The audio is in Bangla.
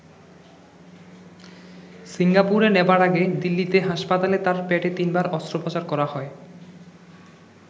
সিঙ্গাপুরে নেবার আগে দিল্লীতে হাসপাতালে তাঁর পেটে তিনবার অস্ত্রোপচার করা হয়।